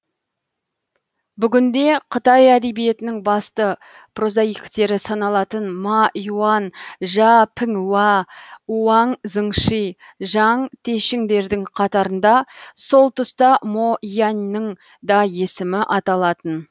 бүгінде қытай әдебиетінің басты прозаиктері саналатын ма иуан жа піңуа уаң зыңщи жаң тешіңдердің қатарында сол тұста мо яньның да есімі аталатын